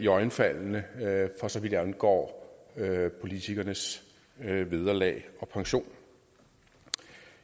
iøjnefaldende for så vidt angår politikernes vederlag og pension